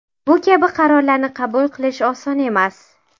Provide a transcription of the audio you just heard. Bu kabi qarorlarni qabul qilish oson emas.